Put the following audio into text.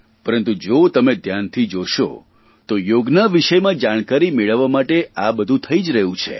પરંતુ તો તમે ધ્યાનથી જોશો તો યોગના વિષયમાં જાણકારી મેળવવા માટે આ બધું થઇ જ રહ્યું છે